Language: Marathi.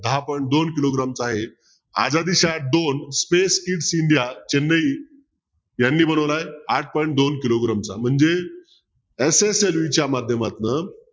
दहा point दोन किलोग्रॅमचा आहे चेन्नई यांनी बनवलाय आठ point दोन किलोग्रॅमचा म्हणजे SSLV च्या माध्यमातन